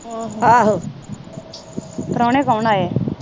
ਆਹੋ ਪ੍ਰੋਹਣੇ ਕੌਣ ਆਏ ਆ?